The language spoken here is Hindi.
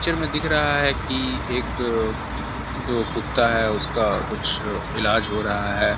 पिक्चर में दिख रहा है कि एक जो कुत्ता है उसका कुछ ईलाज हो रहा है। .